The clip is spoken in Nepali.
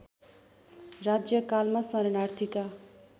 राज्यकालमा शरणार्थीका